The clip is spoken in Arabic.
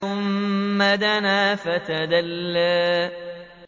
ثُمَّ دَنَا فَتَدَلَّىٰ